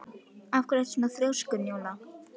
Af hverju ertu svona þrjóskur, Njóla?